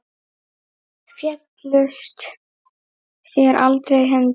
Féllust þér aldrei hendur?